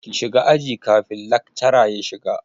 Ki shiga aji kafin lakcara ya shiga!